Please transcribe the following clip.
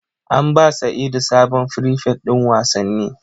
An ba sa'idu sabon frifet din wasanni